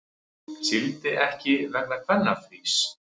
Sigldi ekki vegna kvennafrís